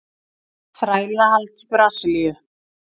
Þrælahald í Brasilíu.